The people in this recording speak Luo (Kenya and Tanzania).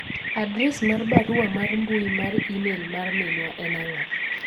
adres mar barua mar mbui mar email mar minwa en ang'o